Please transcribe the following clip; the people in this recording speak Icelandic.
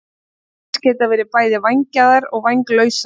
Ryklýs geta verið bæði vængjaðar og vænglausar.